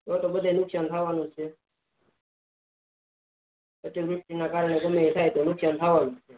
તો તો બધાને નુકસાન થવાનું છે પછી ઋતુ ના કરને ગમે તે થાય તો નુકસાન થવાનું છે